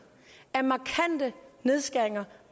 af markante nedskæringer